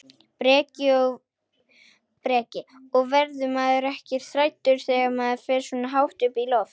Breki: Og verður maður ekkert hræddur þegar maður fer svona hátt upp í loft?